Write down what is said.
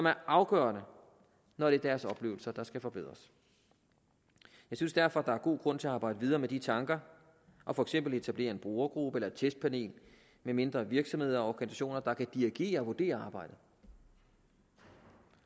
er afgørende når det er deres oplevelser der skal forbedres jeg synes derfor at der er god grund til at arbejde videre med de tanker og for eksempel etablere en brugergruppe eller et testpanel med mindre virksomheder og organisationer der kan dirigere og vurdere arbejdet